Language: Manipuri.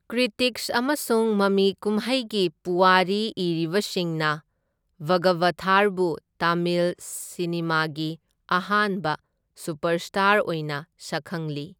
ꯀ꯭ꯔꯤꯇꯤꯛꯁ ꯑꯃꯁꯨꯡ ꯃꯃꯤ ꯀꯨꯝꯍꯩꯒꯤ ꯄꯨꯋꯥꯔꯤ ꯏꯔꯤꯕꯁꯤꯡꯅ ꯚꯒꯕꯊꯥꯔꯕꯨ ꯇꯥꯃꯤꯜ ꯁꯤꯅꯦꯃꯥꯒꯤ ꯑꯍꯥꯟꯕ ꯁꯨꯄꯔꯁ꯭ꯇꯥꯔ ꯑꯣꯏꯅ ꯁꯛꯈꯪꯂꯤ꯫